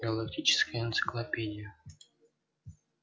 галактическая энциклопедия